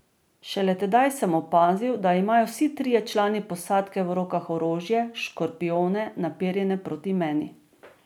Šele tedaj sem opazil, da imajo vsi trije člani posadke v rokah orožje, škorpijone, naperjene proti meni.